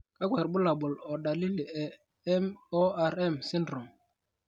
kakwa irbulabol o dalili e MORM syndrome?